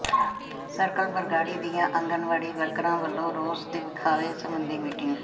circle Bargari ਦੀਆਂ ਆਂਗਣਵਾੜੀ ਵਰਕਰਾਂ ਵਲੋਂ ਰੋਸ ਵਿਖਾਵੇ ਸਬੰਧੀ ਮੀਟਿੰਗ